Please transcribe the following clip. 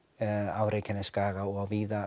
á Reykjanesskaga og víða